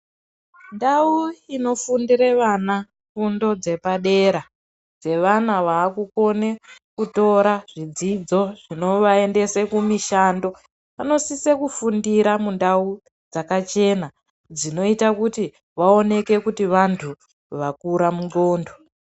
Ndau inofundire vana fundo dzepadera dzevana vakukone kutora dzidzo dzinovaendese kumishando, vanosise kufundira mundau dzakachena dzinoita kuti vaoneke kuti vantu vakura mundxondo.